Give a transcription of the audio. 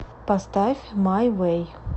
поставь май вэй